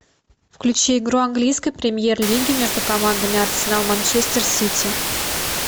включи игру английской премьер лиги между командами арсенал манчестер сити